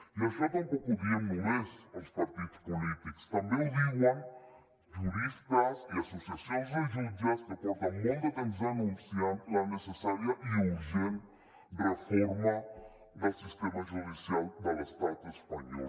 i això tampoc ho diem només els partits polítics també ho diuen juristes i associacions de jutges que porten molt de temps anunciant la necessària i urgent reforma del sistema judicial de l’estat espanyol